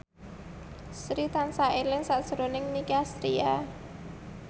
Sri tansah eling sakjroning Nicky Astria